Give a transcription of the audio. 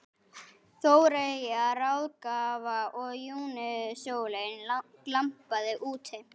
Þóreyjar ráðgjafa og júnísólin glampaði úti.